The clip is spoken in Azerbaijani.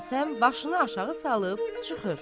Hacı Həsən başını aşağı salıb çıxır.